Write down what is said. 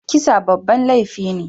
Kisa babban laifi ne.